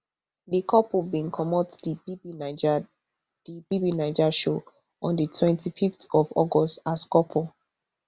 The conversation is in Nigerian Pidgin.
di couple bin comot di bbnaija di bbnaija show on di twenty-fiveth of august as couple